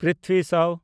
ᱯᱨᱤᱛᱷᱵᱷᱤ ᱥᱟᱣ